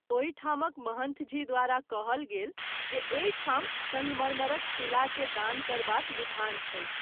ओहि ठामक महंथ जी द्वारा कहल गेल जे एहि ठाम संगमरमर शिला के दान करबाक विधान छैक।